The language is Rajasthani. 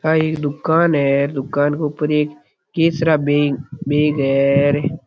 आ एक दुकान है दुकान क ऊपर एक केसरा बैंक बेग है र।